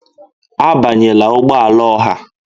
Abanyela ụgbọ ala ọha!